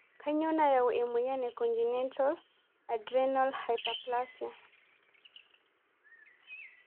Kanyio nayau emoyian e congenital adrenal hyperplasia?